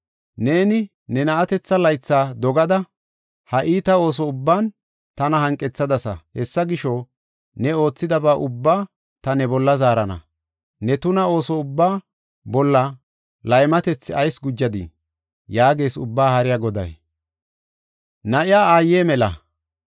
Neeni ne na7atetha laytha dogada, ha iita ooso ubban tana hanqethadasa. Hessa gisho, ne oothidaba ubbaa ta ne bolla zaarana. Ne tuna ooso ubbaa bolla laymatethi ayis gujadiii?” yaagees Ubbaa Haariya Goday.